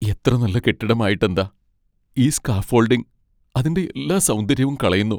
എത്ര നല്ല കെട്ടിടം ആയിട്ടെന്താ, ഈ സ്കാഫോൾഡിങ് അതിൻ്റെ എല്ലാ സൗന്ദര്യവും കളയുന്നു.